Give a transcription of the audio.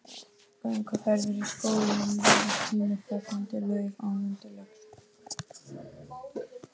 Þetta er félagsskapur bandarískra kvenna sem starfa að kennslumálum.